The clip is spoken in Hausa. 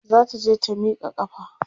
zata je ta Mika ƙafa